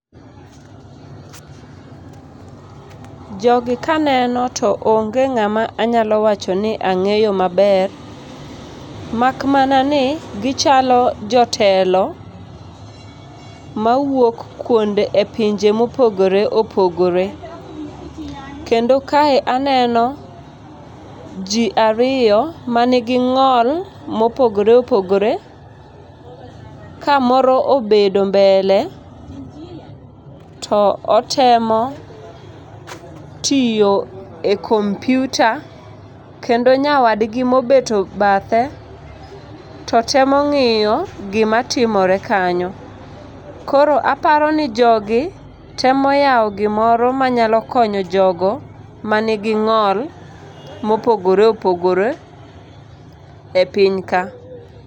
Jogi ka aneno to onge ng'ama anyalo wacho ni ang'eyo maber. Makmana ni gichalo jotelo mawuok e pinje mopogore opogore. Kendo kae aneno ji ariyo manigi ng'ol mopogore opogore, ka moro obedo mbele to otemo tiyo e kompiutar, kendo nyawadgi mobeto bathe to temo ng'iyo gima timore kanyo. Koro aparo ni jogi temo yawo gimoro manyalo konyo jogo manigi ng'ol mopogore opogore e piny ka.